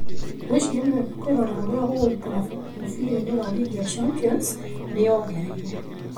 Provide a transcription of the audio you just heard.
Ngwĩciria nĩ wega kwĩrorera ũrĩa gũgũikara mũbira-inĩ wa rigi ya Champions '", nĩ ongereire.